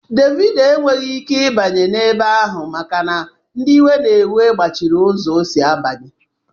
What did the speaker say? Dévido enweghị ike ịbanye ebe ahụ maka na ndị iwe na-ewe gbochiri ụzọ ọ sị abanya